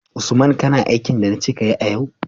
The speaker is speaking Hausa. Usman kana aikin da nace kayi a yau?